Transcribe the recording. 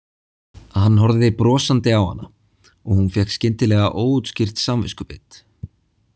Hann horfði brosandi á hana og hún fékk skyndilega óútskýrt samviskubit.